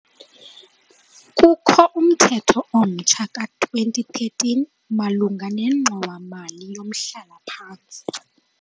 Kukho umthetho omtsha ka-2013 malunga nengxowa-mali yomhlala-phantsi.